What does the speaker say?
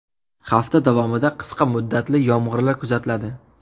Hafta davomida qisqa muddatli yomg‘irlar kuzatiladi.